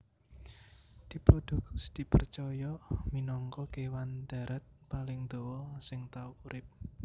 Diplodocus dipercaya minangka kèwan darat paling dawa sing tau urip